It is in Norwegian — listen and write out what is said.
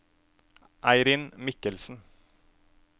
Eirin Michelsen